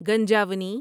گنجاونی